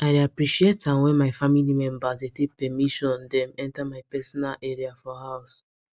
i dey appreciate am when my family members dey take permission dem enter my personal area for house